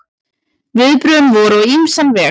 Viðbrögðin voru á ýmsan veg.